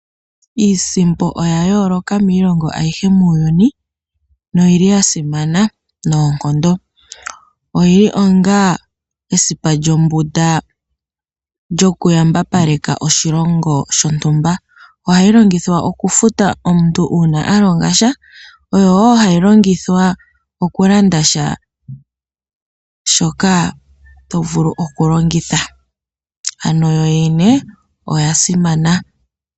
Iisimpo oya yooloka miilongo ayihe muuyuni, no yili ya simana noonkondo. Oyi li onga esimano lyombunda lyo ku yambapaleka oshilongo shontumba. Oha yi longithwa oku futa omuntu uua alonga sha, oyo wo ha yi longithwa oku landa sha shoka to vulu oku longitha. Ano yo yene oya simana.